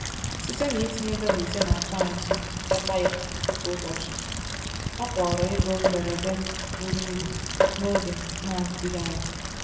Site n’itinye dola ise n’akaụntụ nchekwa ya kwa ụbọchị, ọ kpọrọ ego mberede buru ibu n’oge na-adịghị anya.